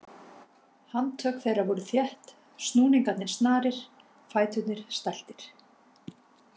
Handtök þeirra voru þétt, snúningarnir snarir, fæturnir stæltir.